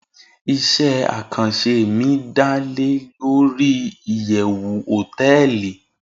ise akanse mi da le Lori iyewu hoteeli